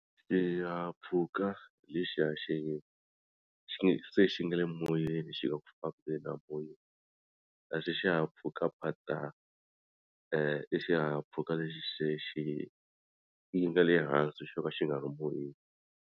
Xihahampfhuka lexiya xi xi se xi nga le moyeni xi nga ku fambeni amoyeni kasi xihahampfhukaphatsa i xihahampfhuka lexi xexi yi nga le hansi xo ka xi nga ri moyeni.